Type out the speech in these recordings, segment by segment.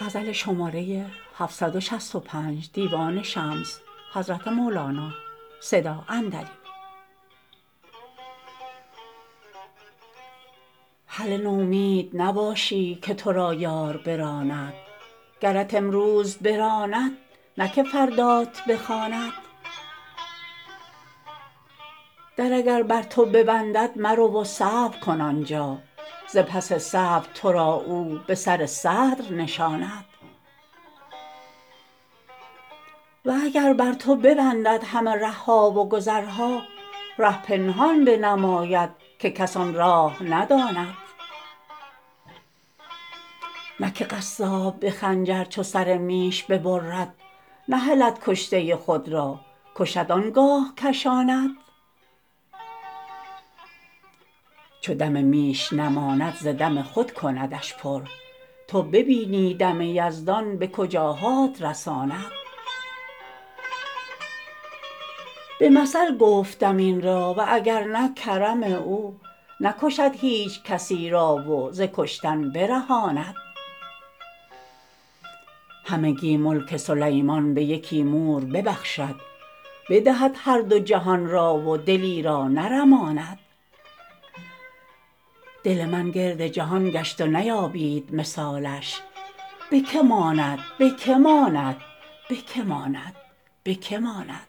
هله نومید نباشی که تو را یار براند گرت امروز براند نه که فردات بخواند در اگر بر تو ببندد مرو و صبر کن آن جا ز پس صبر تو را او به سر صدر نشاند و اگر بر تو ببندد همه ره ها و گذرها ره پنهان بنماید که کس آن راه نداند نه که قصاب به خنجر چو سر میش ببرد نهلد کشته خود را کشد آن گاه کشاند چو دم میش نماند ز دم خود کندش پر تو ببینی دم یزدان به کجاهات رساند به مثل گفته ام این را و اگر نه کرم او نکشد هیچ کسی را و ز کشتن برهاند همگی ملک سلیمان به یکی مور ببخشد بدهد هر دو جهان را و دلی را نرماند دل من گرد جهان گشت و نیابید مثالش به که ماند به که ماند به که ماند به که ماند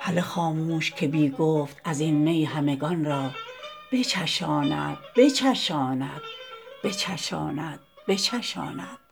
هله خاموش که بی گفت از این می همگان را بچشاند بچشاند بچشاند بچشاند